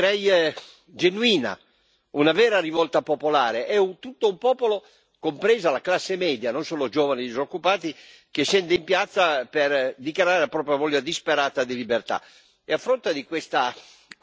addirittura direi genuina. Una vera rivolta popolare è un tutto un popolo, compresa la classe media, non solo i giovani disoccupati, che scende in piazza per dichiarare la propria voglia disperata di libertà.